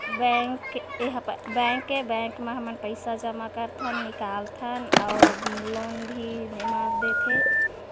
bank ऐ हा ब बैंक ऐ बैंक मा हमन पईसा जमा करथन निकालथन अउ लोन भी एमा देथे--